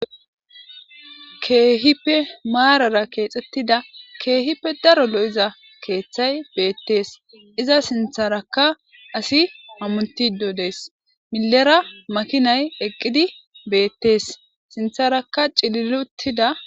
Kehippe marara kexetida kehippe daro lo'iza kethayi betees iza sintaraka asi hamutidi de'ees mile bagara makinayi de'ees sintaraka ci'liliutida